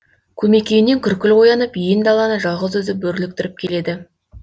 көмекейінен күркіл оянып ен даланы жалғыз өзі бөрліктіріп келеді